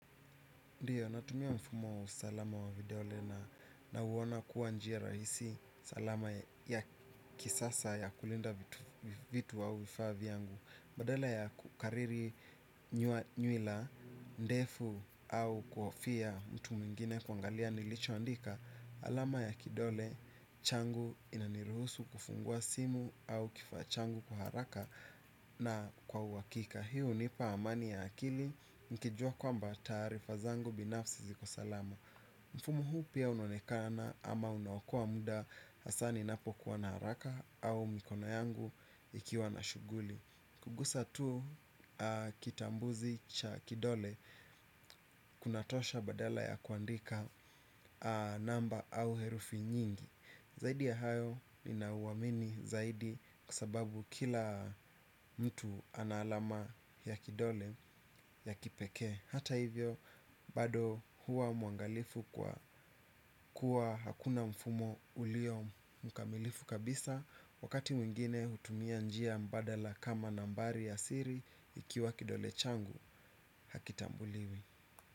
Ndiyo, natumia mfumo wa usalama wa vidole na nauona kuwa njia rahisi salama ya kisasa ya kulinda vitu au vifaa vyangu badala ya kukariri nywila ndefu au kuhofia mtu mwingine kuangalia nilichoandika alama ya kidole changu inaniruhusu kufungua simu au kifaa changu kwa haraka na kwa uhakika hii hunipa amani ya akili. Nikijua kwamba taarifa zangu binafsi ziko salama. Mfumo huu pia unonekana ama unaokoa muda hasa ninapokuwa na haraka au mikono yangu ikiwa na shughuli kugusa tu kitambuzi cha kidole kunatosha badala ya kuandika namba au herufi nyingi. Zaidi ya hayo ninauamini zaidi kwa sababu kila mtu ana alama ya kidole ya kipekee hata hivyo bado huwa mwangalifu kwa kuwa hakuna mfumo ulio mkamilifu kabisa wakati mwingine hutumia njia mbadala kama nambari ya siri ikiwa kidole changu hakitambuliwi.